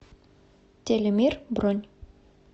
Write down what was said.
телемир бронь